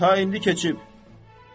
Gərəksiz, ta indi keçib.